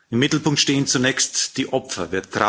Im Mittelpunkt stehen zunächst die Opfer.